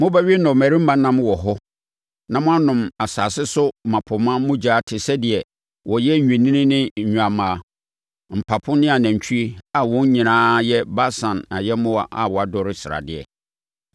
Mobɛwe nnɔmmarima nam wɔ hɔ na moanom asase so mmapɔmma mogya te sɛ deɛ wɔyɛ nnwennini ne nnwammaa, mpapo ne anantwinini a wɔn nyinaa yɛ Basan ayɛmmoa a wɔadɔre sradeɛ.